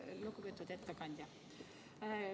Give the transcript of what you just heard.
Lugupeetud ettekandja!